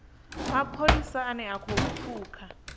mapholisa ane a khou pfuka